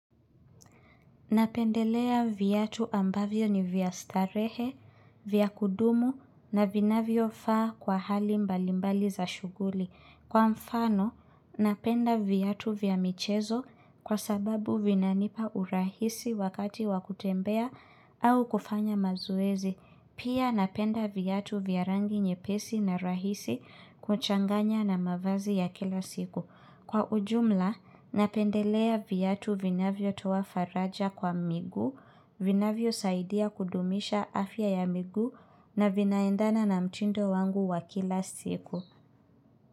Napendelea viatu ambavyo ni vya starehe, vyakudumu na vinavyo faa kwa hali mbalimbali za shughuli. Kwa mfano, napenda vyatu vya michezo kwa sababu vinanipa urahisi wakati wakutembea au kufanya mazoezi. Pia napenda vyatu vya rangi nye pesi na rahisi kuchanganya na mavazi ya kila siku. Kwa ujumla, napendelea vyatu vinavyo toa faraja kwa miguu, vinavyo saidia kudumisha afya ya migu na vinaendana na mtindo wangu wa kila siku.